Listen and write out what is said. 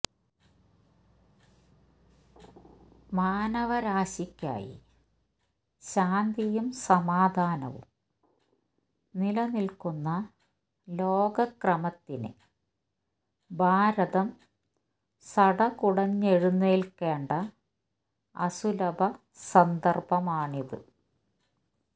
മാനവരാശിയ്ക്കായി ശാന്തിയും സമാധാനവും നിലനില്ക്കുന്ന ലോകക്രമത്തിന് ഭാരതം സടകുടഞ്ഞെഴുന്നേല്ക്കേണ്ട അസുലഭ സന്ദര്ഭമാണിത്